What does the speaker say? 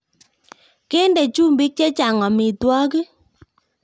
Kende chumbiik chechang amitwokik